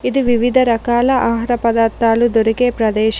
ఇది వివిధ రకాల ఆహార పదార్థాలు దొరికే ప్రదేశం.